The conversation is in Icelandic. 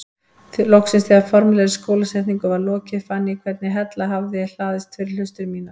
Loksins þegar formlegri skólasetningu var lokið fann ég hvernig hella hafði hlaðist fyrir hlustir mínar.